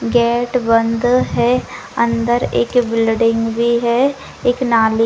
gate बंद है अंदर एक बिल्डिंग भी है एक नाली --